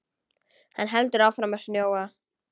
Hann heldur áfram að snjóa.